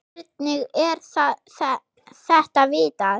Hvernig er þetta vitað?